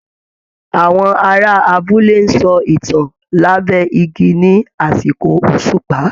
Àwọn ará abúlé ń sọ ìtàn lábẹ́ igi ní àsìkò òṣùpá